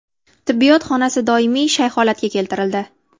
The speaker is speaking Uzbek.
Tibbiyot xonasi doimiy shay holatga keltirildi”.